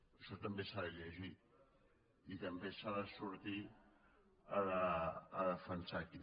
això també s’ha de llegir i també s’ha de sortir a defensar aquí